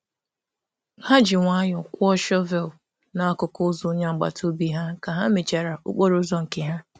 Ha um jiri nwayọọ kpochara um ụzọ agbata obi ha mgbe ha ha kpochara nke ha.